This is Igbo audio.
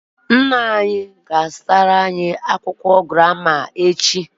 Nna anyi ga-azutara anyi akwukwo ejije echi